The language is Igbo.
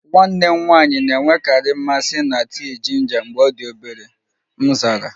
Nwanne m nwanyị na-enwekarị mmasị na tii jinja mgbe ọ dị obere, m zara